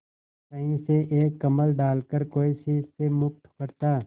कहीं से एक कंबल डालकर कोई शीत से मुक्त करता